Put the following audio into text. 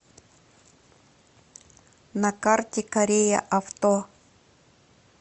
на карте корея авто